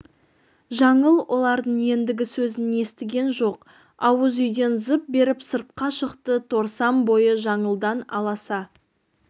жаңыл олардың ендігі сөзін естіген жоқ ауыз үйден зып беріп сыртқа шықты торсан бойы жаңылдан аласа